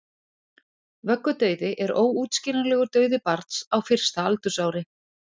vöggudauði er óútskýranlegur dauði barns á fyrsta aldursári